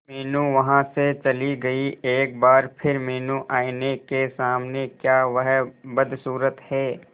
मीनू वहां से चली गई एक बार फिर मीनू आईने के सामने क्या वह बदसूरत है